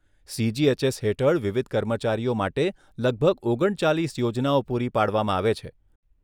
CGHS હેઠળ વિવિધ કર્મચારીઓ માટે લગભગ ઓગણચાલીસ યોજનાઓ પૂરી પાડવામાં આવે છે.